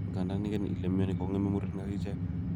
Igandan iken ile mioni ko'geme murenik akichek